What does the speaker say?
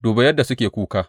Duba yadda suke kuka!